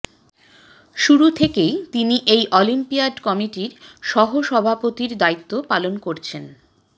শুরু থেকেই তিনি এই অলিম্পিয়াড কমিটির সহসভাপতির দায়িত্ব পালন করছেন